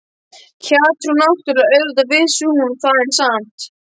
Hjátrú náttúrlega, auðvitað vissi hún það, en samt